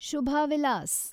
Shubha Vilas